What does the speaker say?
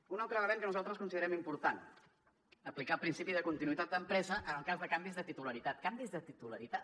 un altre element que nosaltres considerem important aplicar el principi de continuïtat d’empresa en el cas de canvis de titularitat canvis de titularitat